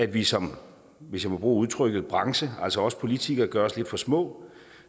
vi som hvis jeg må bruge udtrykket branche altså os politikere gør os lidt for små